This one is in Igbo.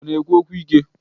Ọ na-ekwu okwu ike?